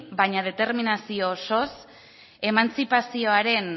baina determinazio osoz emantzipazioaren